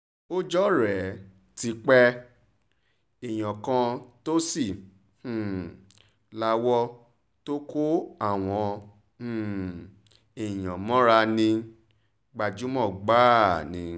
ọjọ́ rẹ̀ ti rẹ̀ ti pé èèyàn kan tó sì um lawọ́ tó kó àwọn um èèyàn mọ́ra ní gbajúmọ̀ gbáà ni